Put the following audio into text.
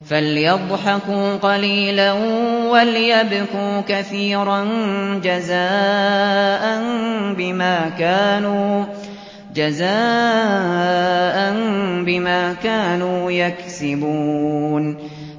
فَلْيَضْحَكُوا قَلِيلًا وَلْيَبْكُوا كَثِيرًا جَزَاءً بِمَا كَانُوا يَكْسِبُونَ